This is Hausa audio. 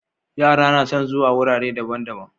Yara nason zuwa wurare daban daban